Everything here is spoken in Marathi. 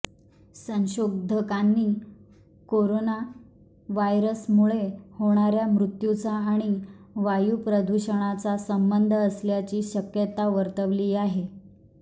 संशोधकांनी कोरोनाव्हायरसमुळे होणाऱ्या मृत्यूचा आणि वायू प्रदूषणाचा संबंध असल्याची शक्यता वर्तवली आहे